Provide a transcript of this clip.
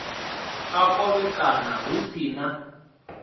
a khovhekano hu si na